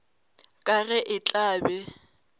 ka ge a tla be